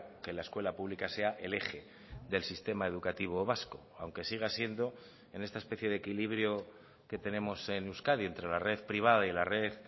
que la escuela pública sea el eje del sistema educativo vasco aunque siga siendo en esta especie de equilibrio que tenemos en euskadi entre la red privada y la red